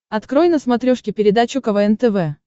открой на смотрешке передачу квн тв